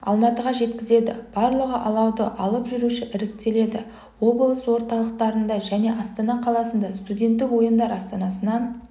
алматыға жеткізеді барлығы алауды алып жүруші іріктеледі облыс орталықтарында және астана қаласында студенттік ойындар астанасынан